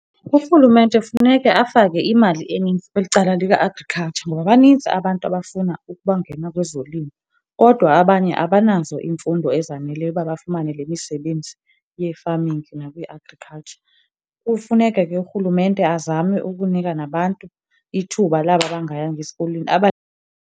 Urhulumente funeka afake imali enintsi kweli cala lika-Agriculture ngoba banintsi abantu abafuna ukubangena kwezolimo, kodwa abanye abanazo iimfundo ezaneleyo uba bafumane le misebenzi ye-farming nakwi-Agriculture. Kufuneka ke urhulumente azame ukunika nabantu ithuba laba bangayanga esikolweni .